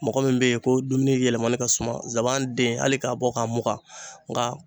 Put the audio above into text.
Mɔgɔ min be yen ko dumuni yɛlɛmani ka suman zaban den hali k'a bɔ k'a mugan nka